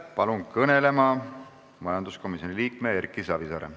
Palun kõnelema majanduskomisjoni liikme Erki Savisaare.